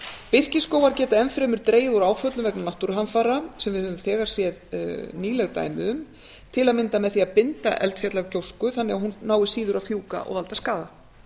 birkiskógar geta enn fremur dregið úr áföllum vegna náttúruhamfara sem við höfum þegar séð nýleg dæmi um til að mynda með því að binda eldfjallagjósku þannig að hún nái síður að fjúka og valda skaða